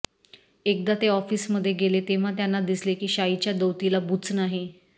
एकदा ते ऑफिसमध्ये गेले तेव्हा त्यांना दिसले की शाईच्या दौतीला बूच नाही